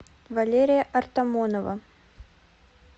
валерия артамонова